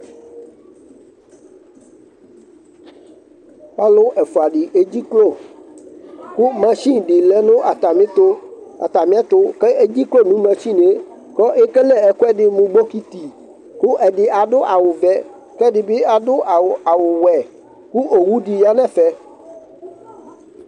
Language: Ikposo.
Ɔlʊ ɛfʊa dɩ edzeklo Kʊ mashɩni di lɛ ŋʊ atɛmɩɛtʊ Kʊ ekele ɛkʊ ɛdi mʊ ɓɔƙɩtɩ ƙʊ ɛdɩ adʊ awʊ ʋɛ, kɛdibi adʊ awʊ wɛ kʊ owu di ya nɛfɛ